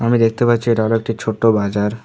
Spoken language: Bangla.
আমি দেখতে পাচ্ছি এটা হলো একটি ছোট্ট বাজার।